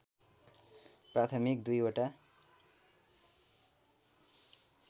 प्राथमिक दुईवटा